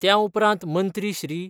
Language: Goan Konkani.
त्या उपरांत मंत्री श्री.